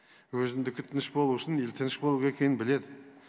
өзіндікі тыныш болу үшін ел тыныш болу керек екенін біледі